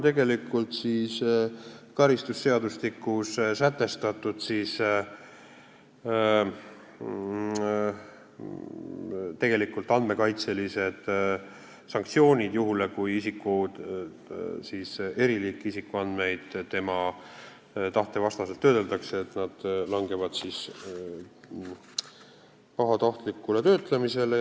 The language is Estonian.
Praegu on karistusseadustikus andmekaitselised sanktsioonid sätestatud juhul, kui isiku eriliiki isikuandmeid tema tahte vastaselt töödeldakse, need langevad pahatahtliku töötlemise alla.